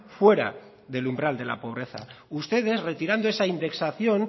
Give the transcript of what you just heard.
fuera del umbral de la pobreza ustedes retirando esa indexación